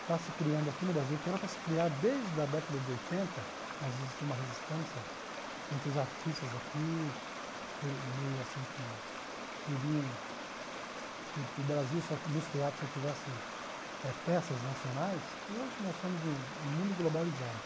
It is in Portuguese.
está se criando aqui no Brasil, que era para se criar desde a década de oitenta, mas existiu uma resistência entre os artistas aqui, por meio assim que queriam que que o Brasil nos teatros só tivesse eh peças nacionais, e hoje nós estamos num num mundo globalizado.